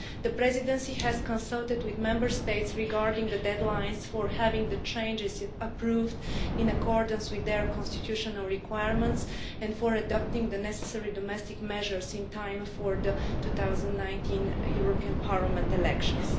The Presidency has consulted with Member States regarding the deadlines for having the changes approved in accordance with their constitutional requirements and for adopting the necessary domestic measures in time for the 2019 European Parliament elections.